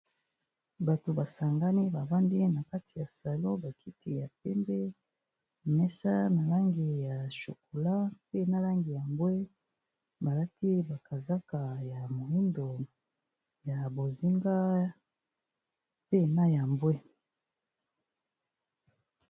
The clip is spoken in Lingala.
Bato ba sangani ba vandi na kati ya salon ba kiti ya pembe, mesa na langi ya chokolat, mpe na langi ya mbwe, ba lati ba kazaka ya moyindo, ya bozinga, mpe na ya mbwe.